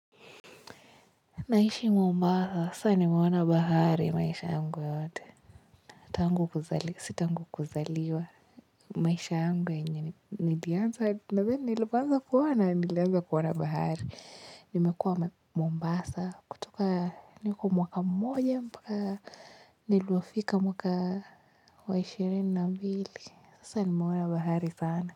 Naishi Mombasa, sasa nimeona bahari maisha yangu yote. Tangu kuzaliwa, si tangu kuzaliwa. Maisha yangu yenye nilianza, nadhani nilipoanza kuona nilianza kuona nilianza kuona bahari. Nimekuwa Mombasa, kutuka niko mwaka mmoja mpaka nilivyofika mwaka wa ishirini na mbili. Sasa nimeona bahari sana.